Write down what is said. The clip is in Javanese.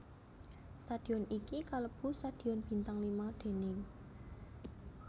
Stadion iki kalebu stadion bintang lima déning